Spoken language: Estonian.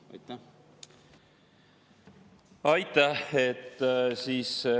Aitäh!